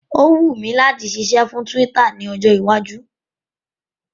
Ó wùn mi láti ṣiṣẹ́ fún Twitter ní ọjọ́ iwájú